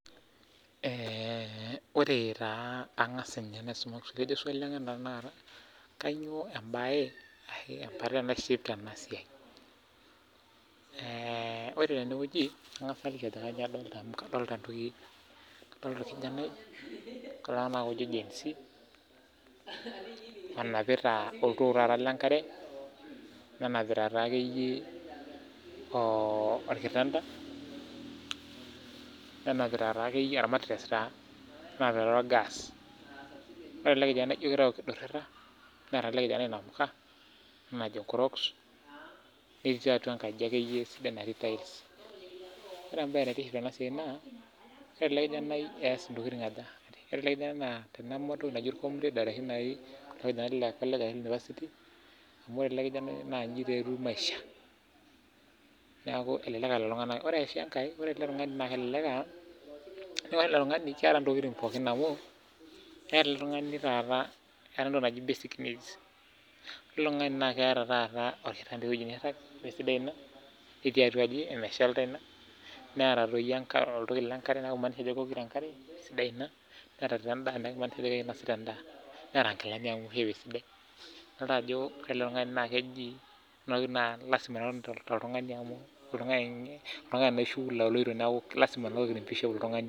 Ore tenewueji angas aliki adolita olkijanai onapita oltoo lenkare, olkitanda wolmatures wolgas Naa ijo kidurhita neeta elelijanai inamuka ena najo crocks netii atua engaji sidai natii tiles Ore embae naa ore ele kijanai naa keas intokiting aja naa teneme olcomrade kule le nipasiti amu ore ele kijanai naa inji taa etiu maisha neaku elelek aa lelo tung'anak naa ore sii enkae naa elekek aa ore ele tungani naa keata ntokiting pooki naa keeta basic needs pooki amu ketii atua enkaji neeta oltoki lenkare naa kimaanisha ina ajo kewok enkare sidai neeta taa endaa neeta endaa idol ajo lasima nena toltungani amu oltungani naa oishu oloito